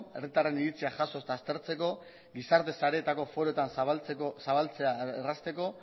herritarren iritzia jaso eta aztertzeko gizarte sareetako foroetan zabaltzea errazteko